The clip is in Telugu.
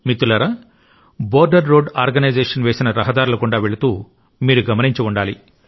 మిత్రులారా బోర్డర్ రోడ్ ఆర్గనైజేషన్ వేసిన రహదారుల గుండా వెళుతూ మీరు గమనించి ఉండాలి